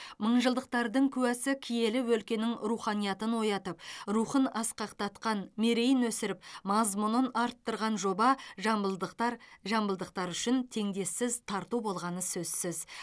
мыңжылдықтардың куәсі киелі өлкенің руханиятын оятып рухын асқақтатқан мерейін өсіріп мазмұнын арттырған жоба жамбылдықтар жамбылдықтар үшін теңдесіз тарту болғаны сөзсіз